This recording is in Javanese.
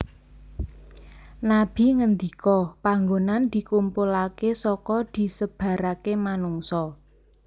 Nabi ngendika Panggonan dikumpulaké saka disebaraké manungsa